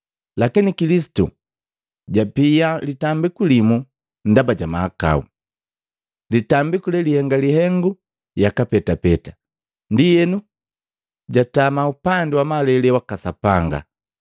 Lakini Kilisitu japia litambiku limu ndaba ja mahakau, litambiku lelihenga lihengu yaka petapeta, ndienu jatama upandi wa malele waka Sapanga.